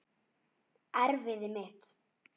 Erfiði mitt.